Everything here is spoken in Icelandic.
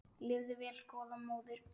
Lifðu vel góða móðir.